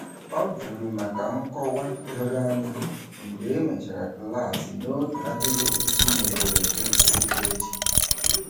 Ọ juru maka nkọwa doro anya mgbe e mechara klaasị n'otu ahịrịokwu si n'ederede okpukperechi.